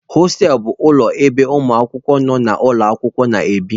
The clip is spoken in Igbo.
Hostelụ bụ ụlọ ebe ụmụ akwụkwọ nọ n'ụlọ akwụkwọ na-ebi.